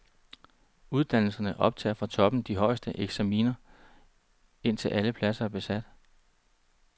Uddannelserne optager fra toppen de højeste eksaminer, indtil alle pladser er besat.